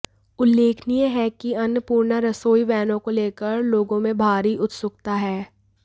उल्लेखनीय है कि अन्नपूर्णा रसोई वैनों को लेकर लोगों में भारी उत्सुकता है